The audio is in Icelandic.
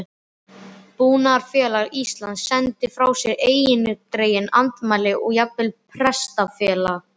Búnaðarfélag Íslands sendi frá sér eindregin andmæli og jafnvel Prestafélag